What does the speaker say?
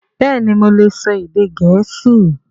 Bẹ́ẹ̀ni mo lè sọ èdè Gẹ̀ẹ́sì